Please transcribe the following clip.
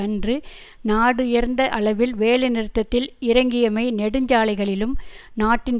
அன்று நாடுபரந்த அளவில் வேலை நிறுத்ததில் இறங்கியமை நெடுஞ்சாலைகளிலும் நாட்டின்